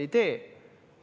Ei tee!